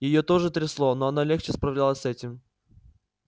её тоже трясло но она легче справлялась с этим